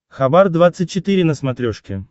хабар двадцать четыре на смотрешке